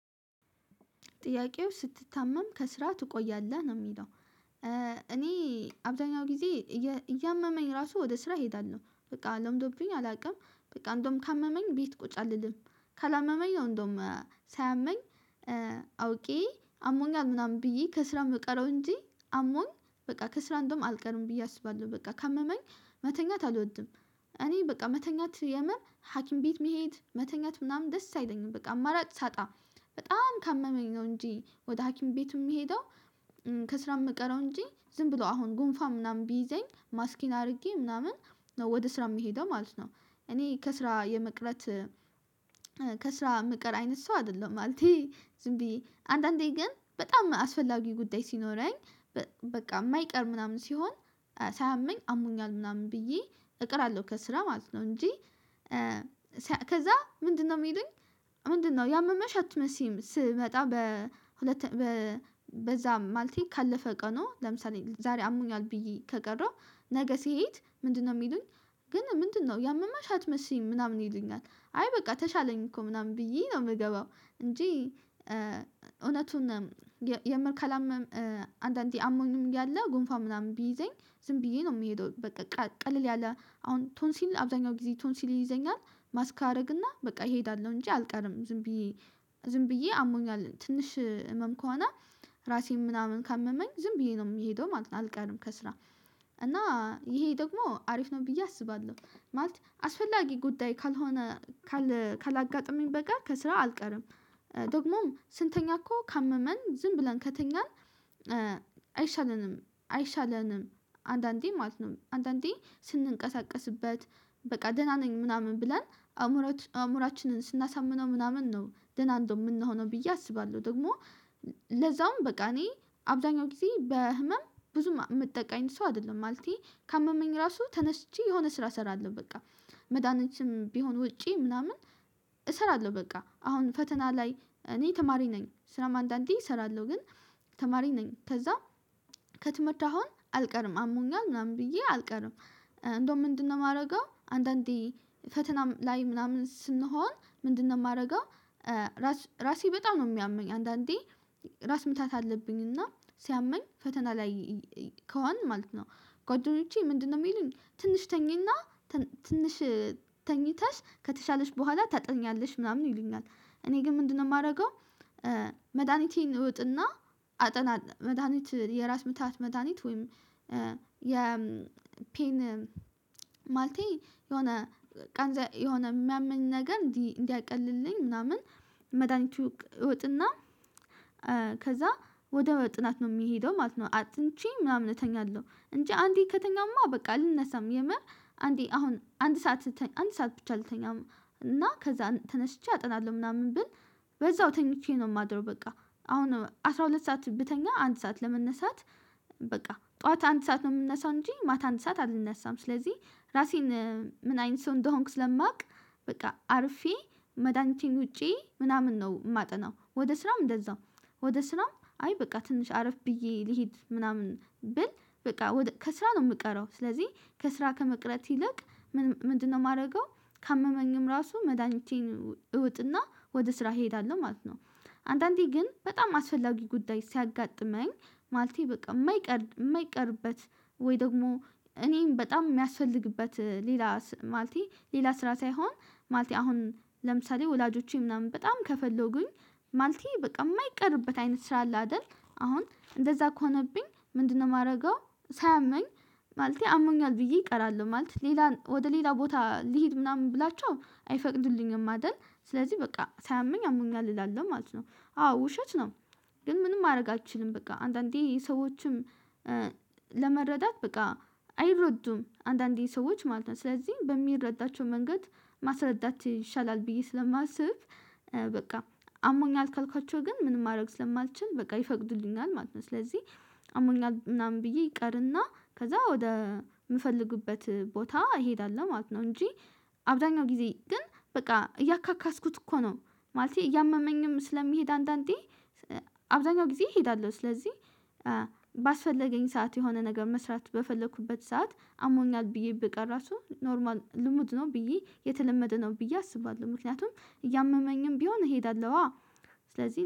ጥያቄው ስትታመም ከስራ ትቆያለህ ነው የሚለው? እኔ አብዘሃኛው ጊዜ እያመመኝ ራሱ ወደ ስራ እሄዳለሁ በቃ ለምዶብኝ አላውቅም። በቃ እንደውም ካመመኝ ቤት ቁጭ አልልም። ካላመመኝ ነው እንደውም ሳያመኝ አውቄ አሞኛል ምናምን ብዬ ከስራ የምቀረው እንጂ አሞኝ በቃ ከስራ እንደውም አልቀርም ብዬ አስባለሁ በቃ ካመመኝ መተኛት አልወድም። እኔ በቃ መተኛት የምር ሀኪም ቤት መሄድ መተኛት ምናምን ደስ አይለኝም በቃ አማራጭ ሳጣ በጣም ካመመኝ ነው እንጂ ወደ ሀኪም ቤት የምሄደው። ከስራ የምቀረው እንጂ ዝም ብሎ አሁን ጉንፋ ምናምን ቢይዘኝ ማስኬን አድርጌ ነው ምናምን ወደ ስራ የሚሄደው ማለት ነው። እኔ ከስራ የመቅረት ከስራ የምቀር አይነት ሰው አይደለሁም ማለቴ ዝም ብዬ አንዳንዴ ግን በጣም አስፈላጊ ጉዳይ ሲኖረኝ በቃ የማይቀር ምናምን ሲሆን ሳያመኝ አሞኛል ምናምን ብዬ እቀራለሁ ከስራ ማለት ነው እንጂ። ከዛ ምንድነው የሚሉኝ? ምንድነው ያመመሽ አትመስይም ስመጣ በሁለተኛ በዛ ማልቴ ካለፈ ቀኑ ለምሳሌ ዛሬ አሞኛል ብዬ ከቀረው ነገ ስሄድ ምንድነው የሚሉኝ? ግን ምንድነው ያመመሽ አትመስይም ምናምን ይሉኛል? አይ በቃ ተሻለኝ እኮ ምናምን ብዬ ነው የምገባው። እንጂ እውነቱን የመልካላም አንዳንዴ አሞኝም እያለ ጉንፋ ምናምን ቢይዘኝ ዝም ብዬ ነው የምሄደው በቃ ቀለል ያለ አሁን ቶንሲል አብዛኛው ጊዜ ቶንሲል ይይዘኛል። ማስክ አደርግና በቃ እሄዳለሁ እንጂ አልቀርም ዝም ብዬ ዝም ብዬ አሞኛል ትንሽ ህመም ከሆነ ራሴን ምናምን ካመመኝ ዝም ብዬ ነው የምሄደው ማለት ነው። አልቀርም ከስራ እና ይሄ ደግሞ አሪፍ ነው ብዬ አስባለሁ ማለት አስፈላጊ ጉዳይ ካልሆነ ካላጋጠመኝ በቀር ከስራ አልቀርም። ደግሞም ስንተኛ እኮ ካመመን ዝም ብለን ከተኛን አይሻለንም። አይሻለንም አንዳንዴ ማለት ነው አንዳንዴ ስንንቀሳቀስበት በቃ ደህና ነኝ ምናምን ብለን አእምሮአችንን ስናሳምነው ምናምን ነው ደህና እንደው የምንሆነው ብዬ አስባለሁ። ደግሞ ለዛውም በቃ እኔ አብዛኛው ጊዜ በህመም ብዙም የምጠቃ አይነት ሰው አይደለሁም። ማለቴ ካመመኝ ራሱ ተነስቼ የሆነ ስራ እሰራለሁ በቃ መድሃኒትም ቢሆን ውጬ ምናምን እሰራለሁ በቃ አሁን ፈተና ላይ እኔ ተማሪ ነኝ ስራም አንዳንዴ እሰራለሁ ግን ተማሪ ነኝ ከዛ ከትምህርት አሁን አልቀርም አሞኛል ምናምን ብዬ አልቀርም። እንደውም ምንድነው የማደርገው አንዳንዴ ፈተና ላይ ምናምን ስንሆን ምንድነው የማደርገው? ራስ ራሴ በጣም ነው የሚያመኝ አንዳንዴ ራስ ምታት አለብኝ እና ሲያመኝ ፈተና ላይ ከሆንን ማለት ነው። ጓደኞቼ ምንድነው የሚሉን ትንሽ ተኚና ትንሽ ተኝተሽ ከተሻለሽ በኋላ ታጠኛለሽ ምናምን ይሉኛል። እኔ ግን ምንድነው የማደርገው? መድሃኒቴን እውጥና አጠናኝ መድሃኒት የራስ ምታት መድሃኒት ወይም የፔን ማልቴ የሆነ የሆነ የሚያምን ነገር እንዲ እንዲያቀልልኝ ምናምን መድሃኒቱ እውጥና። ከዛ ወደ ጥናት ነው የምሄደው ማለት ነው። አጥንቼ ምናምን እተኛለሁ እንጂ አንዴ ከተኛሁማ በቃ አልነሳም የምር አንዴ አሁን አንድ ሰዓት አንድ ሰዓት ብቻ ልተኛ እና ከዛ ተነስቼ አጠናለሁ። ምናምን ብል በዛው ተኝቼ ነው የማድረው በቃ አሁን አስራ ሁለት ሰዓት ብተኛ አንድ ሰዓት ለመነሳት በቃ ጠዋት አንድ ሰዓት ነው የምነሳው እንጂ ማታ አንተ ሰዓት አልነሳም። ስለዚህ ራሴን ምን አይን ሰው እንደሆንኩ ስለማውቅ በቃ አርፌ መድኃኒቴን ውጬ ምናምን ነው የማጠናው። ወደ ስራም እንደዛው ወደ ስራም አይ በቃ ትንሽ አረፍ ብዬ ልሂድ ምናምን ብል በቃ ከስራ ነው የምቀረው። ስለዚህ ከስራ ከመቅረት ይልቅ ምንድነው የማደርገው? ካመመኝም ራሱ መዳኒቴን እውጥና ወደ ስራ እሄዳለሁ ማለት ነው። አንዳንዴ ግን በጣም አስፈላጊ ጉዳይ ሲያጋጥመኝ ማለቴ በቃ የማይቀር የማይቀርበት ወይ ደግሞ እኔም በጣም የሚያስፈልግበት ሌላ ማለቴ ሌላ ስራ ሳይሆን ማልቴ አሁን ለምሳሌ ወላጆቼ ምናምን በጣም ከፈለኩኝ ማልቴ በቃ የማይቀርብበት አይነት ስራ አለ አይደል? አሁን እንደዛ ከሆነብኝ ምንድነው የማደርገው? ሳያመኝ ማለቴ አሞኛል ብዬ እቀራለሁ ማለት ሌላ ወደ ሌላ ቦታ ልሂድ ምናምን ብላቸው አይፈቅዱልኝም አይደል ስለዚህ በቃ ሳያመኝ አምኛል እላለሁ ማለት ነው። አዎ ውሸት ነው። ግን ምንም ማድረግ አልችልም። በቃ አንዳንዴ ይሄ ሰዎችም ለመረዳት በቃ አይረዱም አንዳንዴ ሰዎች ማለት ነው ስለዚህ በሚረዳቸው መንገድ ማስረዳት ይሻላል። ብዬ ስለማስብ በቃ አሞኛል ካልኳቸው ግን ምንም ማድረግ ስለማልችል በቃ ይፈቅዱልኛል ማለት ነው። ስለዚህ አሞኛል ምናምን ብዬ እቀርና ከዛ ወደ የምፈልግበት ቦታ እሄዳለሁ ማለት ነው። እንጂ አብዛኛው ጊዜ ግን በቃ እያካካስኩት እኮ ነው ማለቴ እያመመኝም ስለምሄድ አንዳንዴ አብዛኛውን ጊዜ እሄዳለሁ። ስለዚህ ባስፈለገኝ ሰዓት የሆነ ነገር መስራት በፈለኩበት ሰዓት አሞኛል ብዬ ብቀር ራሱ ኖርማል ልምድ ነው ብዬ የተለመደ ነው ብዬ አስባለሁ። ምክንያቱም እያመመኝም ቢሆን እሄዳለሁ አ ስለዚህ